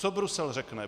Co Brusel řekne?